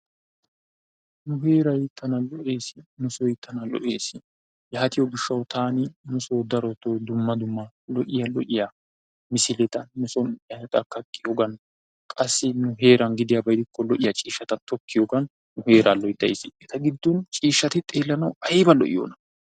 Nu heeray tana lo"ees. Nu soy tana lo"ees. Yaatiyoo giishshawu taani nusoo darotoo dumma dumma lo"iyaa misileta nu soo ehaada kaqqiyoogan qassi nu heeran gidiyaaba gidikko lo"iyaa ciishshata tokkiyoogan nu heeraa loyttays. Eta giddon ciishshati xeellanawu ayba lo"iyoona.